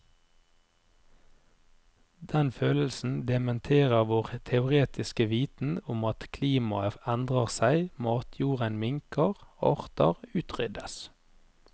Denne følelsen dementerer vår teoretiske viten om klimaet endrer seg, matjorden minker, arter utryddes.